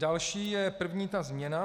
Další je ta první změna.